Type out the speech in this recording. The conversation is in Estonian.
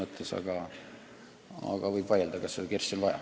Samas võib vaielda, kas seda kirssi on vaja.